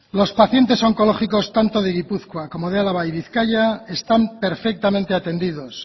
los pacientes oncológicos tanto de gipuzkoa como de álava y bizkaia están perfectamente atendidos